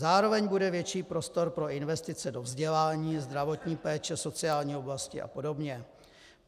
Zároveň bude větší prostor pro investice do vzdělání, zdravotní péče, sociální oblasti a podobně.